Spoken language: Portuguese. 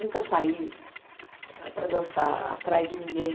Nunca saí para dançar atrás de ninguém.